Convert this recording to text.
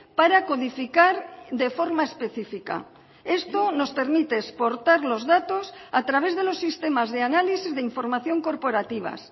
para codificar de forma específica esto nos permite exportar los datos a través de los sistemas de análisis de información corporativas